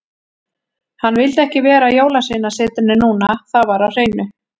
Hann vildi ekki vera á Jólasveinasetrinu núna, það var á hreinu.